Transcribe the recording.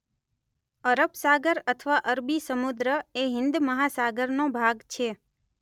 અરબ સાગર અથવા અરબી સમુદ્ર એ હિંદ મહાસાગરનો ભાગ છે.